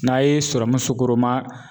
N'a ye serɔmu sukoroman